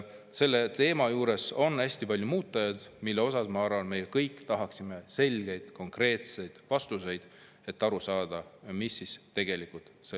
Selle teema juures on hästi palju muutujaid, mille kohta, ma arvan, me kõik tahaksime selgeid ja konkreetseid vastuseid, et aru saada, mis siis tegelikult toimub.